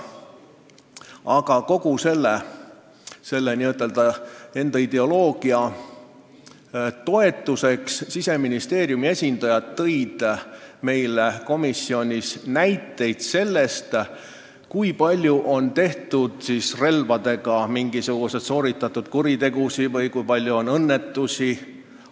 Aga kogu selle n-ö enda ideoloogia toetuseks tõid Siseministeeriumi esindajad komisjonis näiteid selle kohta, kui palju on relvadega pandud toime mingisuguseid kuritegusid või kui palju on nendega juhtunud õnnetusi.